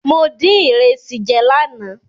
Mo dín ìrẹsì jẹ lánàá.